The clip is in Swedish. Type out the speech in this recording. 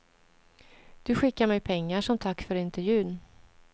Du skickar mig pengar, som tack för intervjun.